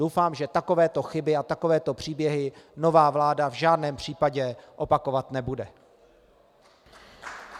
Doufám, že takovéto chyby a takovéto příběhy nová vláda v žádném případě opakovat nebude.